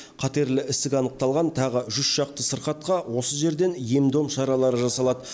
қатерлі ісік анықталған тағы жүз шақты сырқатқа осы жерден ем дом шаралары жасалады